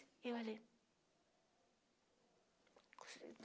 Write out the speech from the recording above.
E eu ali.